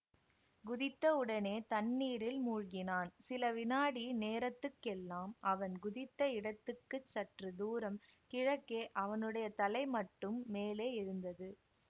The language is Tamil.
குதித்தவுடனே தண்ணீரில் மூழ்கினான் சில வினாடி நேரத்துக்கெல்லாம் அவன் குதித்த இடத்துக்கு சற்று தூரம் கிழக்கே அவனுடைய தலை மட்டும் மேலே எழுந்தது